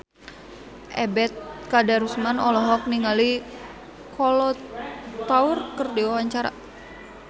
Ebet Kadarusman olohok ningali Kolo Taure keur diwawancara